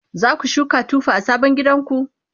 zaku shuka tufa a sabon gidanku?